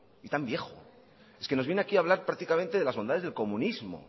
y tan viejo es que nos viene aquí a hablar prácticamente de las bondades del comunismo